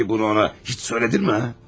Bəs bunu ona heç dedinmi ha?